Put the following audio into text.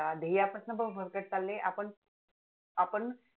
ध्येया पासन पण भरकटत चालले आपण